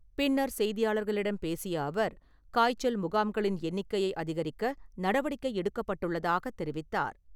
பின்னர் செய்தியாளர்களிடம் பேசிய அவர், காய்ச்சல் முகாம்களின் எண்ணிக்கையை அதிகரிக்க நடவடிக்கை எடுக்கப்பட்டுள்ளதாகத் தெரிவித்தார்.